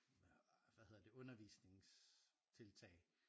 Øh hvad hedder det undervisningstiltag